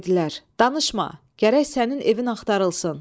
Dedilər, danışma, gərək sənin evin axtarılsın.